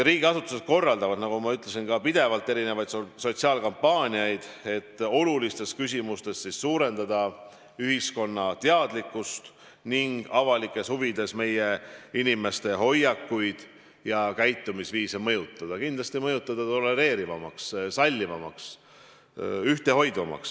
Riigiasutused korraldavad, nagu ma ütlesin, pidevalt erinevaid sotsiaalkampaaniaid, et olulistes küsimustes tõsta ühiskonna teadlikkust ning avalikes huvides meie inimeste hoiakuid ja käitumisviise mõjutada – kindlasti mõjutada nii, et muututakse tolereerivamaks, sallivamaks, ühtehoidvamaks.